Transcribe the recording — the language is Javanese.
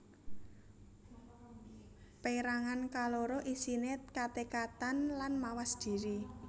Pérangan kaloro isiné katekadan lan mawas dhiri